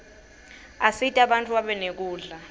asita bantfu babe nekudla